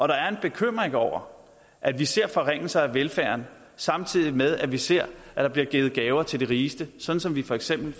der er en bekymring over at vi ser forringelser af velfærden samtidig med at vi ser at der bliver givet gaver til de rigeste sådan som vi for eksempel